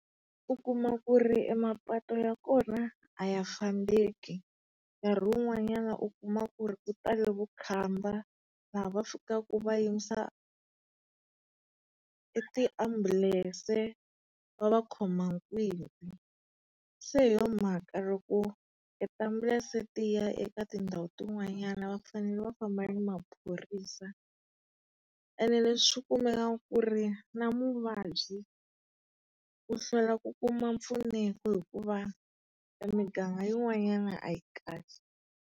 U kuma ku ri emapatu ya kona a ya fambeki. Nkarhi wun'wanyana u kuma ku ri ku tele vukhamba, laha va fikaku va yimisa e tiambulense va va khoma . Se hi yo mhaka loko tiambulense tiya eka tindhawu tin'wanyana va fanele va famba ni maphorisa. Ena swi ku ri na muvabyi u hlwela ku kuma mpfuneko hikuva e miganga yin'wanyana a yi kahle.